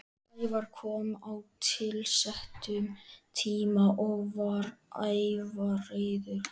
Sævar kom á tilsettum tíma og var ævareiður.